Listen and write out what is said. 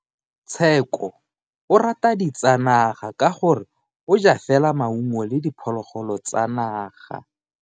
Tsheko o rata ditsanaga ka gore o ja fela maungo le diphologolo tsa naga.